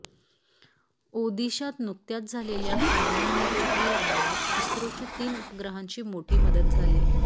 ओदिशात नुकत्याच झालेल्या फायलिन या चक्रीवादळात इस्त्रोच्या तीन उपग्रहांची मोठी मदत झाली